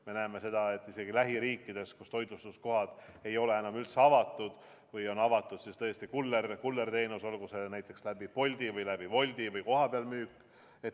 Me näeme seda, et isegi lähiriikides ei ole toitlustuskohad enam üldse avatud, või kui on avatud, siis kullerteenusena, olgu see näiteks läbi Bolti või läbi Wolti, või kohapeal kaasamüük.